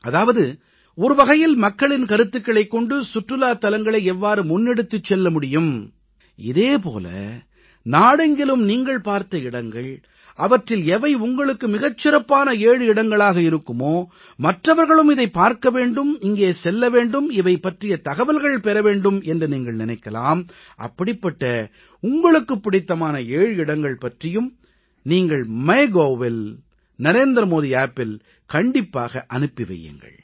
அதாவது ஒரு வகையில் மக்களின் கருத்துகளைக் கொண்டு சுற்றுலாத் தலங்களை எவ்வாறு முன்னெடுத்துச் செல்ல முடியும் இதே போல நாடெங்கிலும் நீங்கள் பார்த்த இடங்கள் அவற்றில் எவை உங்களுக்கு மிகச் சிறப்பான 7 இடங்களாக இருக்குமோ மற்றவர்களும் இதைப் பார்க்க வேண்டும் இங்கே செல்ல வேண்டும் இவை பற்றித் தகவல்கள் பெற வேண்டும் என்று நீங்கள் நினைக்கலாம் அப்படிப்பட்ட உங்களுக்குப் பிடித்தமான 7 இடங்கள் பற்றியும் நீங்கள் MyGovஇல் NarendraModiAppஇல் கண்டிப்பாக அனுப்பி வையுங்கள்